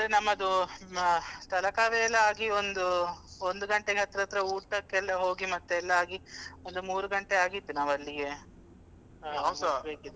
ಅಂದ್ರೆ ನಮ್ಮದು ಅಹ್ Talakaveri ಎಲ್ಲ ಆಗಿ ಒಂದು ಒಂದು ಗಂಟೆಗೆ ಹತ್ರ ಹತ್ರ ಊಟಕ್ಕೆಲ್ಲ ಹೋಗಿ ಮತ್ತೆ ಎಲ್ಲ ಆಗಿ ಒಂದು ಮೂರು ಗಂಟೆ ಆಗಿತ್ತು ನಾವು ಅಲ್ಲಿಗೆ ಮುಟ್ಬೇಕಿದ್ರೆ.